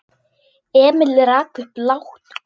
Emil rak upp lágt óp.